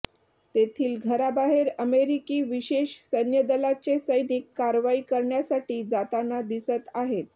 तेथील घराबाहेर अमेरिकी विशेष सैन्यदलाचे सैनिक कारवाई करण्यासाठी जाताना दिसत आहेत